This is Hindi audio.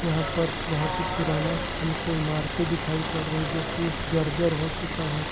यहाँ पर बहोत ही पुराना हमको इमारते दिखाई पड़ रही जोकि जर्जर हो चुका है और--